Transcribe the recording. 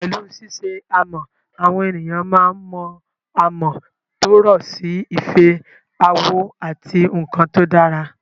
Pẹ̀lú ṣíṣe amọ̀, àwọn ènìyàn máa ń mọ amọ̀ tó rọ̀ sí ife, àwo, àti àwọn nkan tó dára